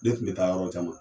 Ne tun bɛ taa yɔrɔ caman